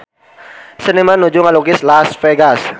Seniman nuju ngalukis Las Vegas